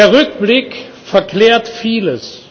der Rückblick verklärt vieles.